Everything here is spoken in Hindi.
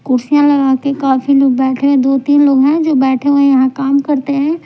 कुर्सियां लगाके काफी लोग बैठे हैं दो-तीन लोग हैं जो बैठे हुए हैं यहां काम करते हैं।